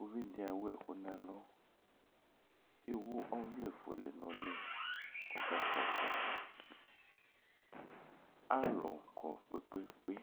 Uvi dɩ ewu ɛkʋ nʋ ɛlʋ Ewu ɔvlɛfuele nʋ ʋlɩ kʋ ɔkakpɔ ɔtsɛka Alʋ kɔ kpe-kpe-kpe